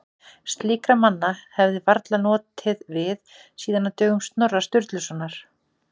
Slíkra manna hefði varla notið við síðan á dögum Snorra Sturlusonar.